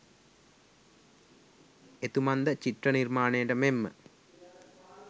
එතුමන් ද චිත්‍ර නිර්මාණයට මෙන්ම